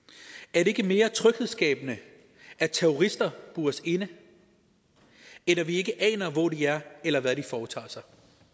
er det ikke mere tryghedsskabende at terrorister bures inde end at vi ikke aner hvor de er eller hvad de foretager sig